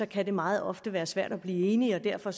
kan det meget ofte være svært at blive enige derfor